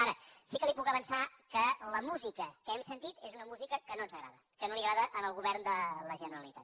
ara sí que li puc avançar que la música que hem sentit és una música que no ens agrada que no li agrada al govern de la generalitat